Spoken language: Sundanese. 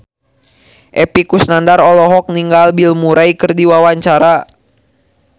Epy Kusnandar olohok ningali Bill Murray keur diwawancara